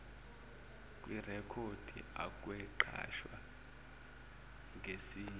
kwirekhodi akwenqatshwa ngesinye